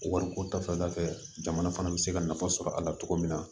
Wariko ta fanfɛla fɛ jamana fana be se ka nafa sɔrɔ a la cogo min na